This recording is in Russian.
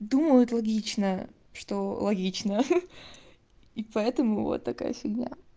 думают логично что логично хи-хи и поэтому вот такая фигня